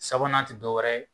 Sabanan tɛ dɔwɛrɛ ye